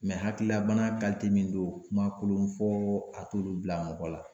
hakililabana min don kuma kolon fɔ a t'olu bila mɔgɔ la